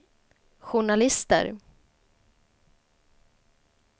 journalister